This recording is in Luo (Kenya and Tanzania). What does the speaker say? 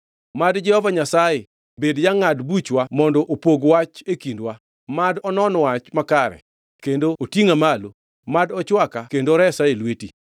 Mad Jehova Nyasaye bed jangʼad buchwa mondo opog wach e kindwa. Mad onon wach makare kendo otingʼa malo; mad ochwaka kendo oresa e lweti.”